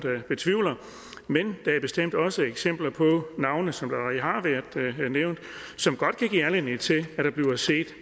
betvivle men der er bestemt også eksempler på navne som allerede har været nævnt som godt kan give anledning til at der bliver set